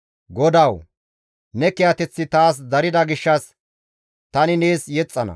GODAWU! Ne kiyateththi taas darida gishshas tani nees yexxana.